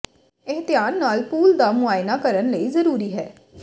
ਇਹ ਧਿਆਨ ਨਾਲ ਪੂਲ ਦਾ ਮੁਆਇਨਾ ਕਰਨ ਲਈ ਜ਼ਰੂਰੀ ਹੈ